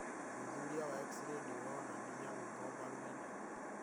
ũthuthuria wa X-ray nĩũronania ũimbo mbaru-inĩ